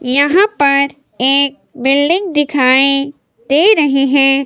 यहां पर एक बिल्डिंग दिखाएं दे रहे हैं।